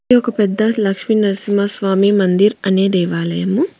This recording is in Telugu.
ఇది ఒక పెద్ద లక్షినరసింహ స్వామి మందీర్ అనే దేవాలయము.